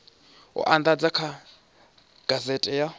u andadzwa kha gazethe ya